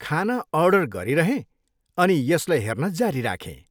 खाना अर्डर गरिरहेँ अनि यसलाई हेर्न जारी राखेँ।